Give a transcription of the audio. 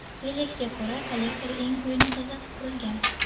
Relyefga ko‘ra, kollektor eng quyi nuqtada qurilgan.